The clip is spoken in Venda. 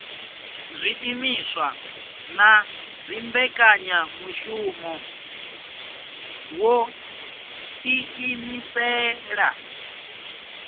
zwiimiswa na dzimbekanyamushumo wo ḓiimisela